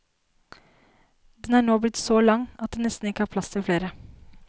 Den er nå blitt så lang at det nesten ikke er plass til flere.